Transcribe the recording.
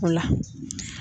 O la.